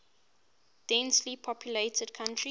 densely populated country